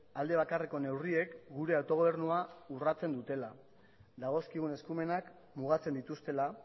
alde bakarreko neurriek gure autogobernua urratzen dutela dagozkigun eskumenak mugatzen dituztela